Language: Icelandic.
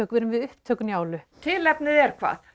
erum við upptök Njálu tilefnið er hvað